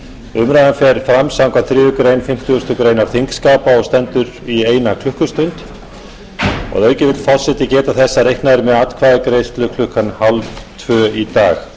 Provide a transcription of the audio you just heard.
umræðan fer fram samkvæmt þriðju grein fimmtugustu grein þingskapa og stendur í eina klukkustund að auki vill forseti geta þess að reiknað er með atkvæðagreiðslu krónu hálftvö í dag